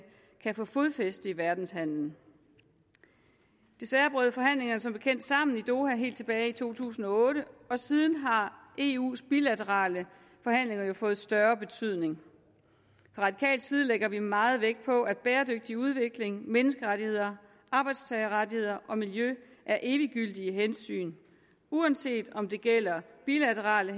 kan få fodfæste i verdenshandelen desværre brød forhandlingerne som bekendt sammen i doha helt tilbage i to tusind og otte og siden har eus bilaterale forhandlinger fået større betydning fra radikal side lægger vi meget vægt på at bæredygtig udvikling menneskerettigheder arbejdstagerrettigheder og miljø er eviggyldige hensyn uanset om det gælder bilaterale